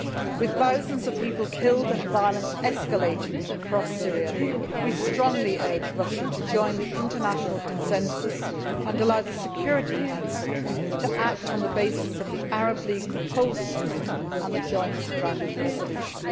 With thousands of people killed and violence escalating across Syria, we strongly urge Russia to join the international consensus and allow the Security Council to act on the basis of the Arab League proposals and the joint draft resolution.